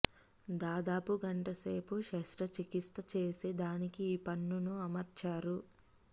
దాదాపు గంటసేపు శస్త్ర చికిత్స చేసి దానికి ఈ పన్నును అమర్చారు